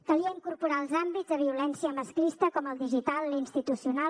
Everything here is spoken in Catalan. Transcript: calia incorporar hi els àmbits de violència masclista com el digital l’institucional